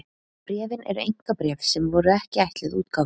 bréfin eru einkabréf sem voru ekki ætluð útgáfu